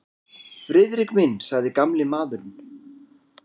Friðrik minn sagði gamli maðurinn.